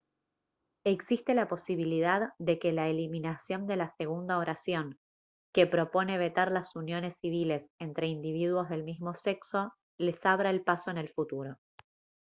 existe la posibilidad de que la eliminación de la segunda oración que propone vetar las uniones civiles entre individuos del mismo sexo les abra el paso en el futuro